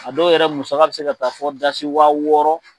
A dɔw yɛrɛ musaka bɛ se ka taa fɔ dasi wa wɔɔrɔ.